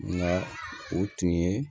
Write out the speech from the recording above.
Nka o tun ye